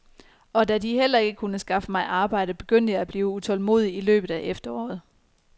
Og da de heller ikke kunne skaffe mig arbejde, begyndte jeg at blive utålmodig i løbet af efteråret.